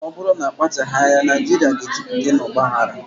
Ọ bụrụ na akpachaghị anya, Naijiria ga-ejupụta na ọgba aghara.